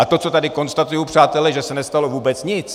A to, co tady konstatuji, přátelé, že se nestalo vůbec nic.